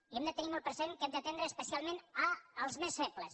i hem de tenir molt present que hem d’atendre especialment els més febles